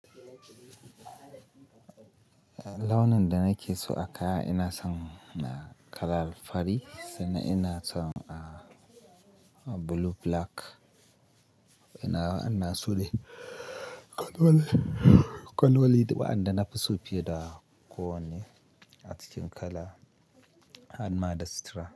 Launin da nake so a kaya ina son kala fari sannan ina son blue black. Ina, ina so ne kwan wale, kwan walid wa'anda nafi so fiye da ko wanne acikin kala an mada sutura.